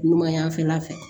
Numan y'a fɛla fɛ